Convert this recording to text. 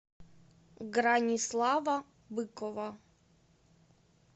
гранислава быкова